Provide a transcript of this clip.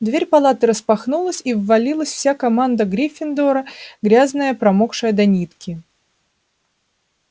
дверь палаты распахнулась и ввалилась вся команда гриффиндора грязная промокшая до нитки